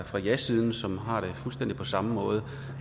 jasiden som har det fuldstændig på samme måde